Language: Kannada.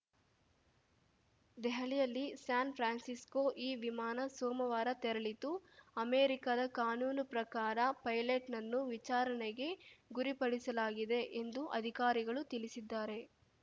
ದೆಹಲಿಯಲ್ಲಿ ಸ್ಯಾನ್‌ಫ್ರಾನ್ಸಿಕೋ ಈ ವಿಮಾನ ಸೋಮವಾರ ತೆರಳಿತ್ತು ಅಮೆರಿಕಾದ ಕಾನೂನು ಪ್ರಕಾರ ಪೈಲಟ್‌ನನ್ನು ವಿಚಾರಣೆಗೆ ಗುರಿಪಡಿಸಲಾಗಿದೆ ಎಂದು ಅಧಿಕಾರಿಗಳು ತಿಳಿಸಿದ್ದಾರೆ